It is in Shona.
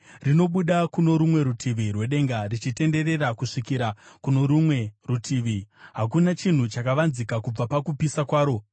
Rinobuda kuno rumwe rutivi rwedenga richitenderera kusvikira kuno rumwe rutivi; hakuna chinhu chakavanzika kubva pakupisa kwaro.